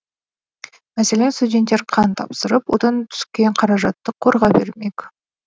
мәселен студенттер қан тапсырып одан түскен қаражатты қорға бермек